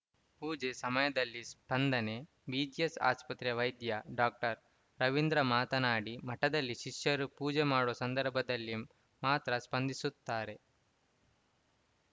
ಪೂಜೆ ಸಮಯದಲ್ಲಿ ಸ್ಪಂದನೆ ಬಿಜಿಎಸ್‌ ಆಸ್ಪತ್ರೆ ವೈದ್ಯ ಡಾಕ್ಟರ್ ರವೀಂದ್ರ ಮಾತನಾಡಿ ಮಠದಲ್ಲಿ ಶಿಷ್ಯರು ಪೂಜೆ ಮಾಡುವ ಸಂದರ್ಭದಲ್ಲಿ ಮಾತ್ರ ಸ್ಪಂದಿಸುತ್ತಾರೆ